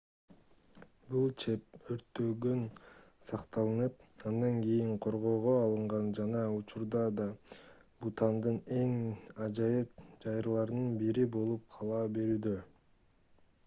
бул чеп өрттөн сакталып андан кийин коргоого алынган жана учурда да бутандын эң ажайып жайларынын бири болуп кала берүүдө